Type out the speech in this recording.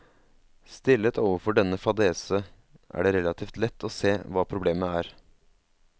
Stillet overfor denne fadese, er det relativt lett å se hva problemet er.